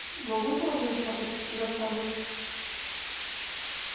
могу я узнать статус заказа